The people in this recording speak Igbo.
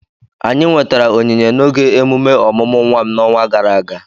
anyị nwetara onyinye n'oge emume ọmụmụ nwa m n'ọnwa gara aga